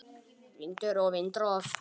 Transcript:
Vindur og vindrof